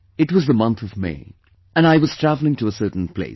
It was the month of May; and I was travelling to a certain place